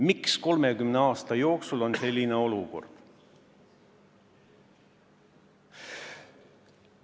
Miks meil on olnud 30 aastat selline olukord?